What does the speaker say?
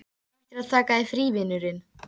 Þú ættir að taka þér frí, vinurinn.